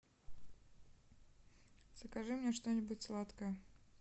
закажи мне что нибудь сладкое